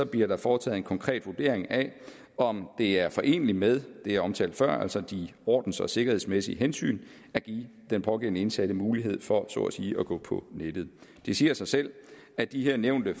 bliver der foretaget en konkret vurdering af om det er foreneligt med det jeg omtalte før altså de ordens og sikkerhedsmæssige hensyn at give den pågældende indsatte mulighed for så at sige at gå på nettet det siger sig selv at de her nævnte